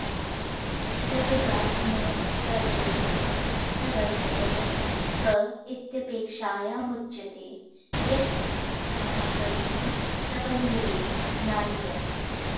गद्यवाङ्मयस्याद्यः प्रवर्तकः क इत्यपेक्षायामुच्यते यत्स महाकविः सबन्धुरेव नान्यः